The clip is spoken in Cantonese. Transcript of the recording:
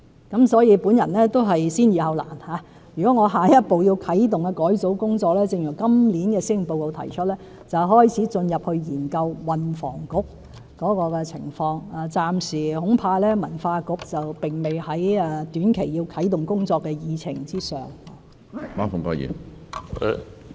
因此，我會先易後難，如果我下一步要啟動改組工作，正如今年施政報告所提出，便是開始研究運房局的情況，恐怕文化局暫時並不在短期啟動工作的議程上。